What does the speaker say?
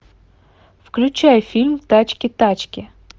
включай фильм тачки тачки